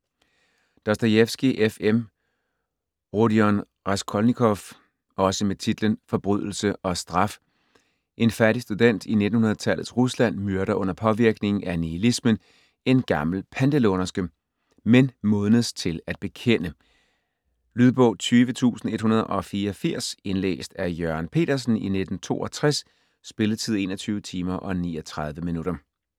Dostojevskij, F. M.: Rodion Raskolnikov Også med titlen Forbrydelse og straf. En fattig student i 1900-tallets Rusland myrder under påvirkning af nihilismen en gammel pantelånerske, men modnes til at bekende. Lydbog 20184 Indlæst af Jørgen Petersen, 1962. Spilletid: 21 timer, 39 minutter.